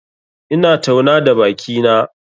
Ina tauna da bakina.